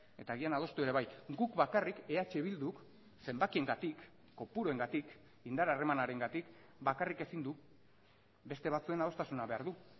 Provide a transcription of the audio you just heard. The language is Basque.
eta agian adostu ere bai guk bakarrik eh bilduk zenbakiengatik kopuruengatik indar harremanarengatik bakarrik ezin du beste batzuen adostasuna behar du